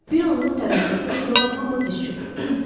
Bir anlıq tərəddüddən sonra hamı diz çökdü.